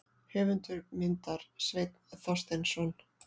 Höfundur myndar: Sveinn Þorsteinsson.